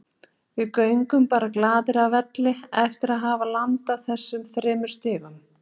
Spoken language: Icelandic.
Við göngum bara glaðir af velli eftir að hafa landað þessum þremur stigum.